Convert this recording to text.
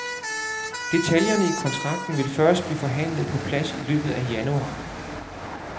Detaljerne i kontrakten vil først blive forhandlet på plads i løbet af januar.